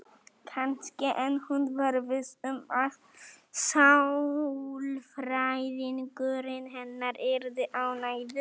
Kannski, en hún var viss um að sálfræðingurinn hennar yrði ánægður.